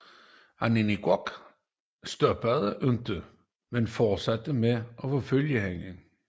Aningaaq stoppede ikke men fortsatte med at forfølge hende